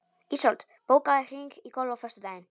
Ísold, bókaðu hring í golf á föstudaginn.